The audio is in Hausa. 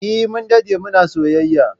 Eh, Mun dade muna soyayya